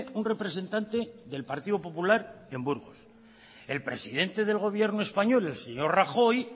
un representante del partido popular en burgos el presidente del gobierno español el señor rajoy